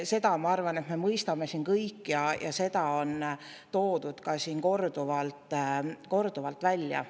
Seda, ma arvan, me mõistame siin kõik ja seda on toodud ka siin korduvalt ja korduvalt välja.